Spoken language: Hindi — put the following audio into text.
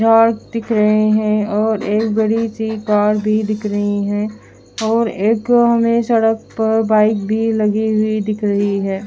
झाड़ दिख रहे है और एक बड़ी सी कार भी दिख रही है और एक हमे सड़क पर बाइक भी लगी हुई दिख रही है।